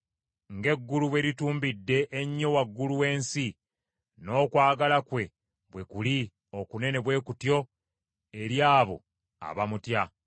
Ng’eggulu bwe litumbidde ennyo waggulu w’ensi, n’okwagala kwe bwe kuli okunene bwe kutyo eri abo abamutya.